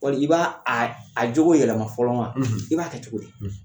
Wali i b'a a a cogo yɛlɛma fɔlɔ wan ? i b'a kɛ cogo di ?